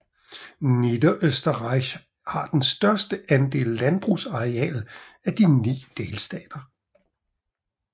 Niederösterreich har den største andel landbrugsareal af de ni delstater